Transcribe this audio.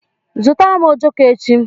Zụrụtara m ojoko echi!